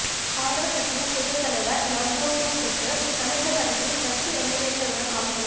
காங்கிரஸ் கட்சியின் புதிய தலைவர் நவ்ஜோத்சிங் சித்து அமிர்தசரஸில் கட்சி எம்எல்ஏக்களுடன் ஆலோசனை